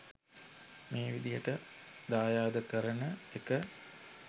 මේ විදිහට දායාද කරන එක